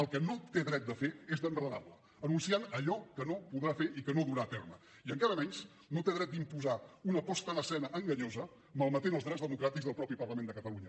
el que no té dret a fer és d’enredar la anunciant allò que no podrà fer i que no durà a terme i encara menys no té dret d’imposar una posada en escena enganyosa malmetent els drets democràtics del mateix parlament de catalunya